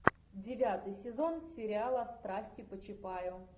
девятый сезон сериала страсти по чапаю